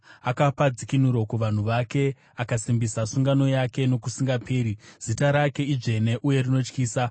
Akapa dzikinuro kuvanhu vake; akasimbisa sungano yake nokusingaperi, zita rake idzvene uye rinotyisa.